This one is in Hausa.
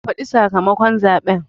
Ka faɗi sakamakon zaɓen